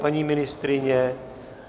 Paní ministryně?